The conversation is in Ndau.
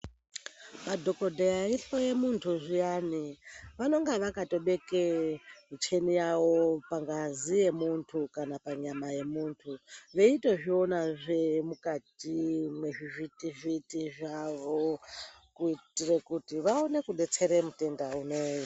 Madhokodheya eihloya muntu zviyani ,vanonga vakatobeke muchini yavo pangazi yemuntu kana panyama yemuntu veitozvionazve mukati mezvivhiti-vhiti zvavo. Kuitira kuti vaone kudetsera mutenda unou.